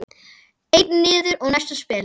Einn niður og næsta spil.